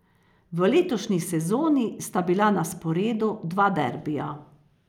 V letošnji sezoni sta bila na sporedu dva derbija.